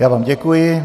Já vám děkuji.